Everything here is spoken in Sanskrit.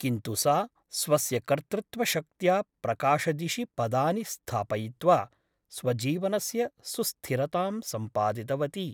किन्तु सा स्वस्य कर्तृत्वशक्त्या प्रकाशदिशि पदानि स्थापयित्वा स्वजीवनस्य सुस्थिरतां सम्पादितवती ।